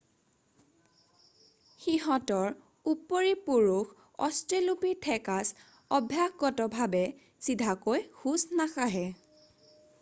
সিহঁতৰ উপৰিপুৰুষ অষ্ট্ৰেলোপিথেকাছ অভ্যাসগতভাৱে চিধাকৈ খোজ নাকাঢ়ে